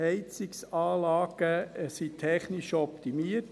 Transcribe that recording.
Heizungsanlagen wurden technisch optimiert.